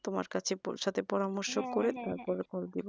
তোমার কাছে পৌঁছাতে পরামর্শ করে